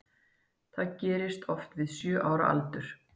Það gerist oft við sjö ára aldur.